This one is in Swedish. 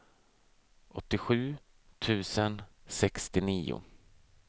åttiosju tusen sextionio